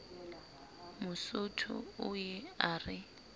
mosotho o ye a re